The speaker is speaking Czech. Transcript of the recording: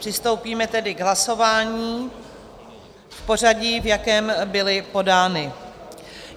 Přistoupíme tedy k hlasování v pořadí, v jakém byly podány.